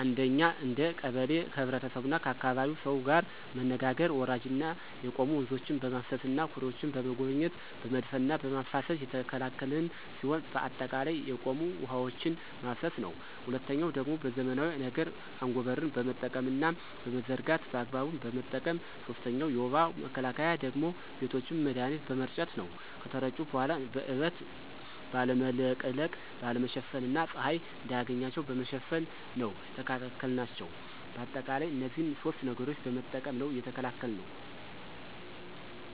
አንደኛ እንደ ቀበሌ ከህብረተሰቡና ከአካባቢው ሰው ጋር መነጋገር ወራጅና የቆሙ ወንዞችን በማፋሰስና ኩሬዎችን በመጎብኘት በመድፈንና በማፋሰስ የተከላከልን ሲሆን በአጠቃላይ የቆሙ ውሐዎችን ማፋሰስ ነው። ሁለተኛው ደግሞ በዘመናዊ ነገር አጎበርን በመጠቀምና በመዘርጋት በአግባቡ በመጠቀም። ሶስተኛው የወባ መከላከያ ደግሞ ቤቶችን መድሀኒት በመርጨት ነው ከተረጩ በኋላ በእበት ባለመለቅለቅ፣ ባለመሸፈን እና ፀሀይ እንዳያገኛቸው በመሸፈን ነው የተከላከልናቸው። በአጠቃላይ እነዚህን ሶስት ነገሮችን በመጠቀም ነው የተከላከልነው።